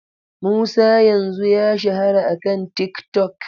Musa yanzu ya shahara akan TikTok.